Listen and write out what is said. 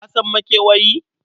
Ka san makewayi?